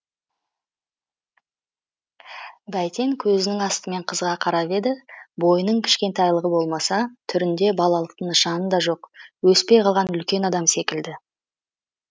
бәйтен көзінің астымен қызға қарап еді бойының кішкентайлығы болмаса түрінде балалықтың нышаны да жоқ өспей қалған үлкен адам секілді